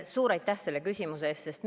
Suur aitäh selle küsimuse eest!